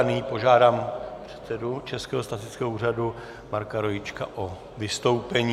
A nyní požádám předsedu Českého statistického úřadu Marka Rojíčka o vystoupení.